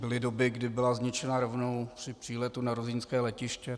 Byly doby, kdy byla zničena rovnou při příletu na ruzyňské letiště.